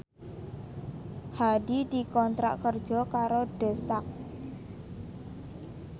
Hadi dikontrak kerja karo The Sak